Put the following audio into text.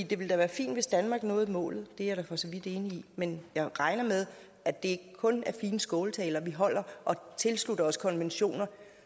det ville da være fint hvis danmark nåede målet det er jeg da for så vidt enig i men jeg regner med at det ikke kun er fine skåltaler vi holder og tilslutter os konventioner